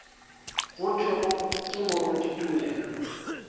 go thwego ke moruti tumelo